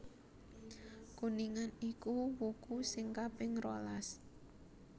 Kuningan iku wuku sing kaping rolas